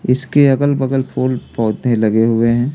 इसके अगल-बगल फूल पौधे लगे हुए हैं।